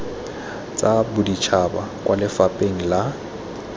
tsa boditšhaba kwa lefapheng la